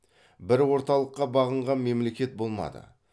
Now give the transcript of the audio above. бір орталыққа бағынған мемлекет болмады